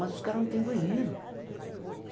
Mas os caras não têm banheiro.